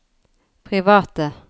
private